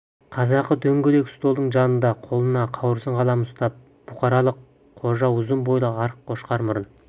қазақы дөңгелек столдың жанында қолына қауырсын қалам ұстап бұқарлық қожа ұзын бойлы арық қошқар мұрын